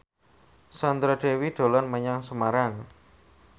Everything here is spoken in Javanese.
Sandra Dewi dolan menyang Semarang